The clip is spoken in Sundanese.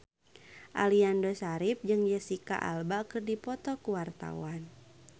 Aliando Syarif jeung Jesicca Alba keur dipoto ku wartawan